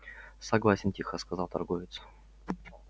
согласен тихо сказал торговец